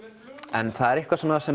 en það er eitthvað sem